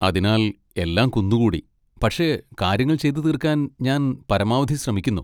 അതിനാൽ എല്ലാം കുന്നുകൂടി, പക്ഷേ കാര്യങ്ങൾ ചെയ്തു തീർക്കാൻ ഞാൻ പരമാവധി ശ്രമിക്കുന്നു.